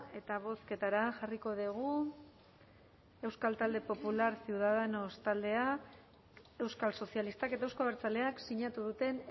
eta bozketara jarriko dugu euskal talde popular ciudadanos taldea euskal sozialistak eta euzko abertzaleak sinatu duten